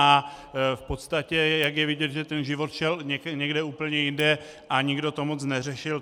A v podstatě jak je vidět, že ten život šel někde úplně jinde a nikdo to moc neřešil.